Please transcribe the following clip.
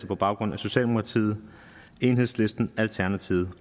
på baggrund af socialdemokratiet enhedslisten alternativet